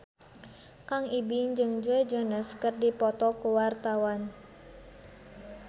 Kang Ibing jeung Joe Jonas keur dipoto ku wartawan